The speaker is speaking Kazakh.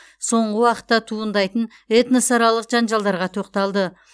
соңғы уақытта туындайтын этносаралық жанжалдарға тоқталды